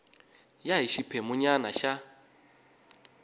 ya hi xiphemu nyana xa